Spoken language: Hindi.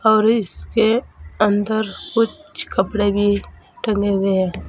और इसके अंदर कुछ कपड़े भी टंगे हुए है।